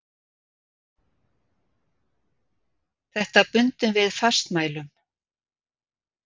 Þetta bundum við fastmælum.